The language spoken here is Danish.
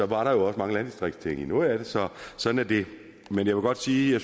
var der jo også mange landdistriktsting i noget af det så sådan er det men jeg vil godt sige at